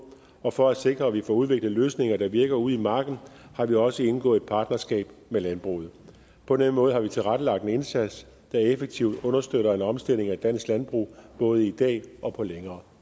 og for at sikre at vi får udviklet løsninger der virker ude i marken har vi også indgået et partnerskab med landbruget på den måde har vi tilrettelagt en indsats der effektivt understøtter en omstilling af dansk landbrug både i dag og på længere